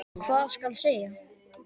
Hvað skal segja?